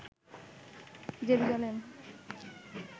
Jerusalem